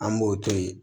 An b'o to yen